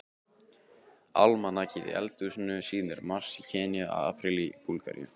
Almanakið í eldhúsinu sýnir mars í Kenýa, apríl í Búlgaríu.